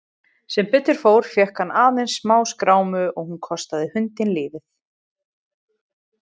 Sem betur fór fékk hann aðeins smáskrámu en hún kostaði hundinn lífið.